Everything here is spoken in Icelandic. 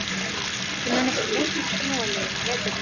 Ég man eftir miklum snjóalögum á veturna.